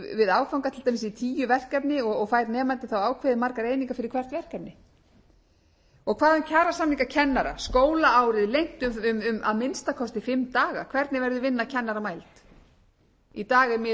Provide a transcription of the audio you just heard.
dæmis tíu verkefni og fær nemandi þá ákveðin margar einingar fyrir hvert verkefni og hvað um kjarasamninga kennara skólaárið lengt um að minnsta kosti fimm daga hvernig verður vinna kennara mæld í dag er miðað við